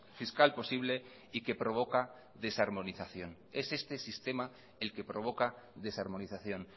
fiscal posible y que provoca desarmonización es este sistema el que provoca desarmonización